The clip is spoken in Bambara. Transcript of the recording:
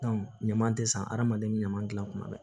ɲaman tɛ san adamaden ɲama gilan kuma bɛɛ